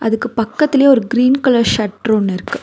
அதுக்கு பக்கத்திலயே ஒரு கிரீன் கலர் ஷட்டர் ஒன்னு இருக்கு.